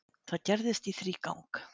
Það gerðist í þrígang.